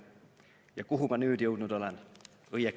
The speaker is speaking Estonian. Ja kuhu ma nüüd jõudnud olen!